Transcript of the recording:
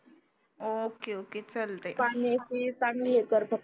okay okay चालतंय